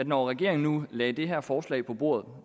når regeringen nu lagde det her forslag på bordet